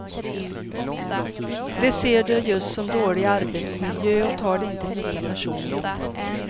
De ser det just som dålig arbetsmiljö och tar det inte lika personligt.